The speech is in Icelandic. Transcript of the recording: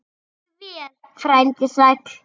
Farðu vel, frændi sæll.